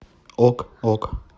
ок ок